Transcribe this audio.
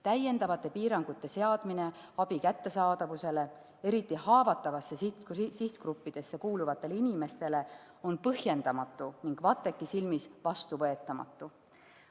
Täiendavate piirangute seadmine abi kättesaadavusele eriti haavatavatesse sihtgruppidesse kuuluvate inimeste puhul on põhjendamatu ning VATEK‑i silmis vastuvõetamatu.